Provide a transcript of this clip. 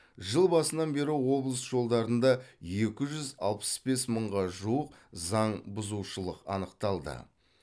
жыл басынан бері облыс жолдарында екі жүз алпыс бес мыңға жуық заң бұзушылық анықталды